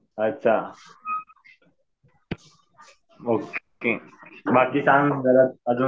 अच्छा. ओके. बाकी काय म्हणतो बरं अजून?